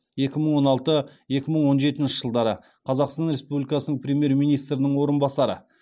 екі мың он алты екі мың он жетінші жылдары қазақстан республикасының премьер министрінің орынбасары